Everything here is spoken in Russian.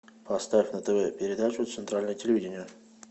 поставь на тв передачу центральное телевидение